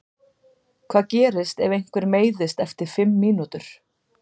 Hvað gerist ef einhver meiðist eftir fimm mínútur?